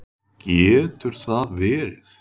Getur það verið?